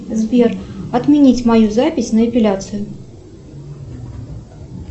сбер отменить мою запись на эпиляцию